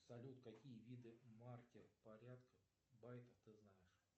салют какие виды маркер порядков байктов ты знаешь